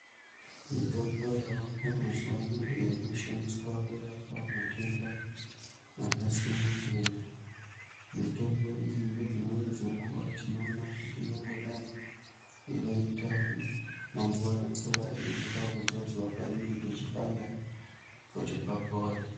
Mitombo yavako mazuva ano iyo ino shandiswa kurapa matenda aka siyana siyana mitombo iyi nge dzimweni dze nguva tino ona kuti inongo dai yaka ita ma mvura mvura ino ita kudzodzwa panenge pechi panda kuti papore.